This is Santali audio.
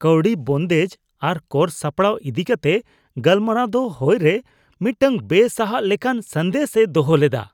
ᱠᱟᱶᱰᱤ ᱵᱚᱱᱫᱮᱡ ᱟᱨ ᱠᱚᱨ ᱥᱟᱯᱲᱟᱣ ᱤᱫᱤ ᱠᱟᱛᱮ ᱜᱟᱞᱢᱟᱨᱟᱣ ᱫᱚ ᱦᱚᱭ ᱨᱮ ᱢᱤᱫᱴᱟᱝ ᱵᱮᱼᱥᱟᱦᱟᱜ ᱞᱮᱠᱟᱱ ᱥᱟᱸᱫᱮᱥ ᱮ ᱫᱚᱦᱚ ᱞᱮᱫᱟ ᱾